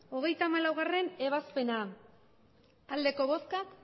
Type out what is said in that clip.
hogeita hamalaugarrena ebazpena emandako botoak